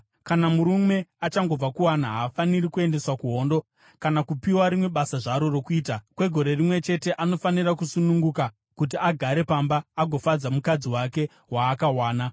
Kana murume achangobva kuwana, haafaniri kuendeswa kuhondo kana kupiwa rimwe basa zvaro rokuita. Kwegore rimwe chete anofanira kusununguka kuti agare pamba agofadza mukadzi wake waakawana.